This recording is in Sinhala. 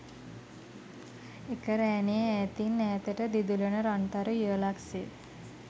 එක රෑනේ ඈතින් ඈතට දිදුලන රන් තරු යුවලක් සේ